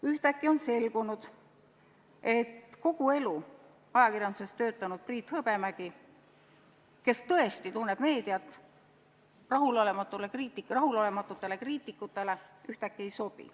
Ühtäkki on selgunud, et kogu elu ajakirjanduses töötanud Priit Hõbemägi, kes tõesti tunneb meediat, rahulolematutele kriitikutele ei sobi.